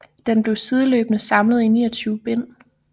Den blev sideløbende samlet i 29 bind